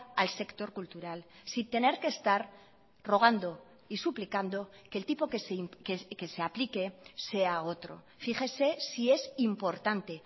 al sector cultural sin tener que estar rogando y suplicando que el tipo que se aplique sea otro fíjese si es importante